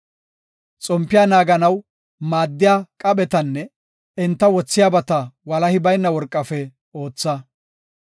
Xompiya naaganaw maaddiya Qaphetanne enta wothiyabata walahi bayna worqafe ootha.